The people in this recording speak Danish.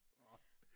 Orh